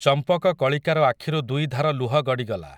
ଚମ୍ପକକଳିକାର ଆଖିରୁ ଦୁଇଧାର ଲୁହ ଗଡ଼ିଗଲା ।